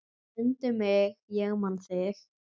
Mundu mig ég man þig.